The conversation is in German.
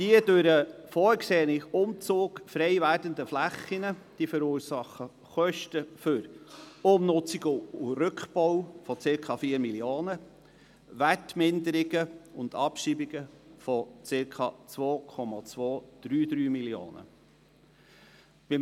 Die durch den vorgesehenen Umzug frei werdenden Flächen verursachen Kosten für Umnutzung und Rückbau von circa 4 Mio. Franken sowie Wertminderungen und Abschreibungen von circa 2,233 Mio. Franken.